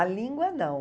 A língua, não.